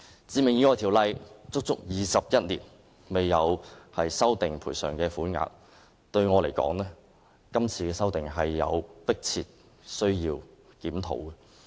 《致命意外條例》已足足21年未有修訂賠償款額，我認為現時有迫切的需要作出檢討和修訂。